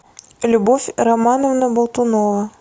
любовь романовна болтунова